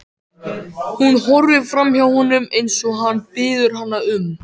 Hún horfir framhjá honum eins og hann biður hana um.